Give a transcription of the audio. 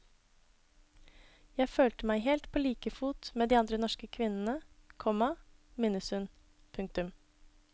Jeg følte meg helt på like fot med de andre norske kvinnene, komma minnes hun. punktum